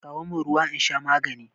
Kawo min ruwa in sha magani